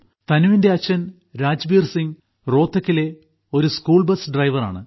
തനുവിന്റെ അച്ഛൻ രാജ്ബീർസിംഗ് റോഹ്തക്കിലെ ഒരു സ്കൂൾബസ് ഡ്രൈവറാണ്